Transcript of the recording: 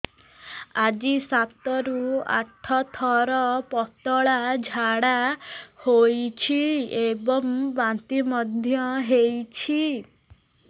ଆଜି ସାତରୁ ଆଠ ଥର ପତଳା ଝାଡ଼ା ହୋଇଛି ଏବଂ ବାନ୍ତି ମଧ୍ୟ ହେଇଛି